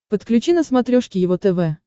подключи на смотрешке его тв